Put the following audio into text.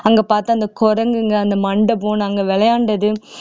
அங்க பார்த்து அந்த குரங்குங்க அந்த மண்டபம் நாங்க விளையாண்டது